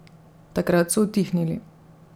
Takrat so utihnili.